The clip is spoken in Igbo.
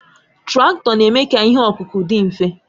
Traktọ na-eme ka ihe ọkụkụ dị mfe